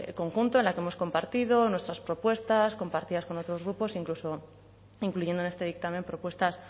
conjunto en el que hemos compartido nuestras propuestas compartidas con otros grupos incluso incluyendo en este dictamen propuestas